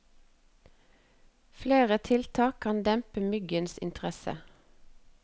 Flere tiltak kan dempe myggens interesse.